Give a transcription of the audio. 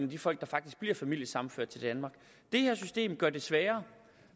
de folk der faktisk bliver familiesammenført til danmark det her system gør det sværere